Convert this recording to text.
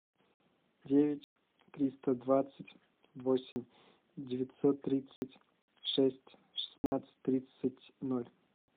девять триста двадцать восемь девятьсот тридцать шесть шестнадцать тридцать ноль